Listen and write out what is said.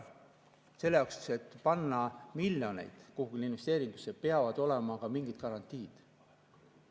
Aga selleks, et panna miljoneid kuhugi investeeringusse, peavad olema ka mingid garantiid.